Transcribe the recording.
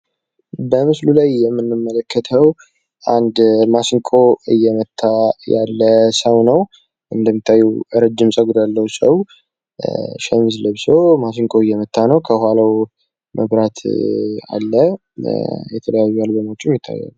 በምስሉ ላይ የምንመለከተው አንድ ማሲንቆ እየመታ ያለ ሰው ነው። እንደሚታየው ረጅም ጸጉር ያለው ፣ ሰው ሸሚዝ ለብሶ ማሲንቆ እየመታ ነው ፤ ከኋላው መብራት አለ።